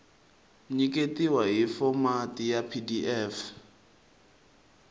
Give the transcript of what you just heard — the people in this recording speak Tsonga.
nyiketiwa hi fomati ya pdf